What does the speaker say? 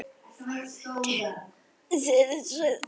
Vandinn við þig, sagði